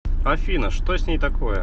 афина что с ней такое